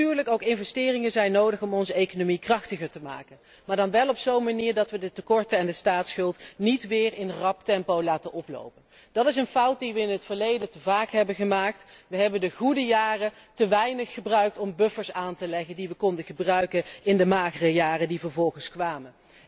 Natuurlijk zijn er ook investeringen nodig om onze economie krachtiger te maken maar dan wel op zo'n manier dat we de tekorten en de staatsschuld niet weer in snel tempo laten oplopen. Dat is een fout die we in het verleden te vaak hebben gemaakt, we hebben de goede jaren te weinig gebruikt om buffers aan te leggen die we konden gebruiken in de magere jaren die vervolgens kwamen.